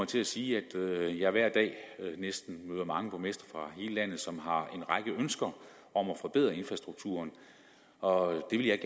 til at sige at jeg hver dag næsten møder mange borgmestre fra hele landet som har en række ønsker om at forbedre infrastrukturen og det vil jeg